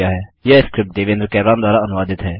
यह स्क्रिप्ट देवेन्द्र कैरवान द्वारा अनुवादित है